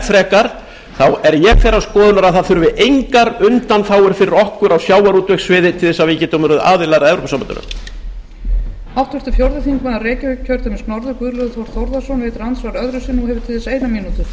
frekar þá er ég þeirrar skoðunar að það þurfi engar undanþágur fyrir okkur á sjávarútvegssviði til þess að við getum orðið aðilar að evrópusambandinu